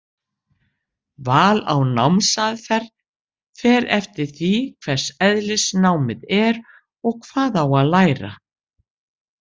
Val á námsaðferð fer eftir því hvers eðlis námið er og hvað á að læra.